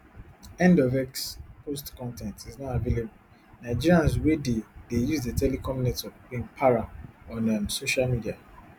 end of x post con ten t is not available nigerians wey dey dey use di telecom network bin para on um social media